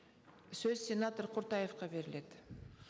сөз сенатор құртаевқа беріледі